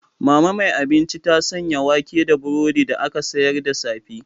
Mama mai abinci ta sanya wake da burodi da aka sayar da safe.